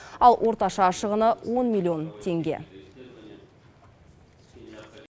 ал орташа шығыны он миллион теңге